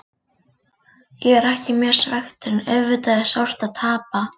Ég er ekki mjög svekktur en auðvitað er sárt að tapa.